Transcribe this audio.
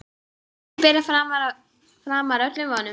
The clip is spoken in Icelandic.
Hátíðin byrjaði framar öllum vonum.